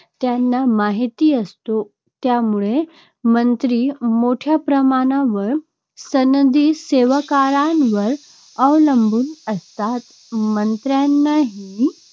त्यांना माहीत असतो. त्यामुळे मंत्री मोठ्या प्रमाणावर सनदी सेवकांवर अवलंबून असतात. मंत्र्यांनीही